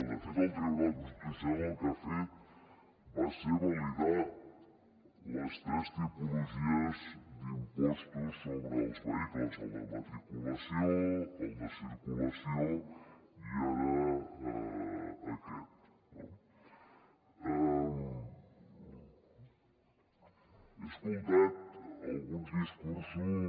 de fet el tribunal constitucional el que ha fet va ser validar les tres tipologies d’impostos sobre els vehicles el de matriculació el de circulació i ara aquest no he escoltat alguns discursos